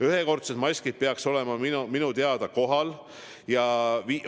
Ühekordsed maskid peaks minu teada kohal olema.